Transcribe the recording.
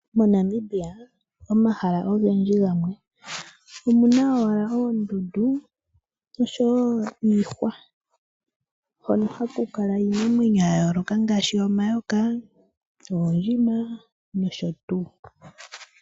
MoNamibia omahala ogendji gamwe omuna owala oondundu niihwa hono haku kala iinamweyno ya yooloka ngaashi omayoka, oondjima nosho tuu